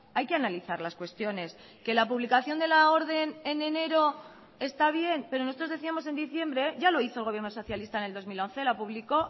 hay que analizar las cuestiones que la publicación de la orden en enero está bien pero nosotros decíamos en diciembre ya lo hizo el gobierno socialista en el dos mil once la publicó